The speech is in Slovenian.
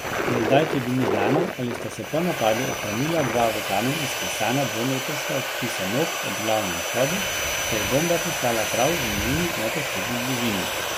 Za zdaj tudi ni znano, ali sta se po napadu ohranila dva v kamen izklesana dvometrska odtisa nog ob glavnem vhodu, saj je bomba pristala prav v njuni neposredni bližini.